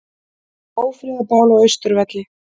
Ófriðarbál á Austurvelli